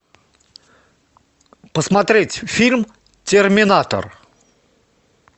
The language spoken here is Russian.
посмотреть фильм терминатор